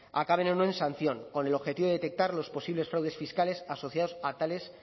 acaben o no en sanción con el objetivo de detectar los posibles fraudes fiscales asociados a tales